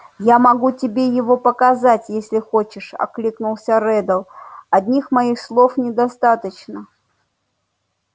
я могу тебе его показать если хочешь откликнулся реддл одних моих слов недостаточно